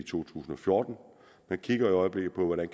tusind og fjorten man kigger i øjeblikket på hvordan